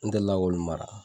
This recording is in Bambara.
N deli la k'olu mara.